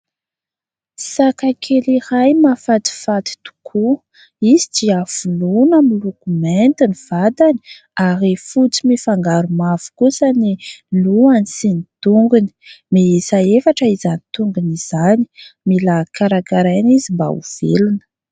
Saka kely iray mahafatifaty tokoa. Izy dia voloina miloko mainty ny vatany ary fotsy mifangaro mavo kosa ny lohany sy ny tongony. Miisa efatra izany tongony izany mila karakaraina izy mba ho velona.